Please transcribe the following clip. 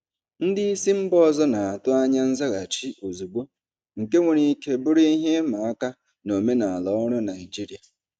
Ndị isi mba ọzọ na-atụ anya nzaghachi ozugbo, nke nwere ike bụrụ ihe ịma aka na omenala ọrụ Naijiria.